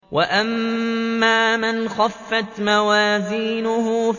وَأَمَّا مَنْ خَفَّتْ مَوَازِينُهُ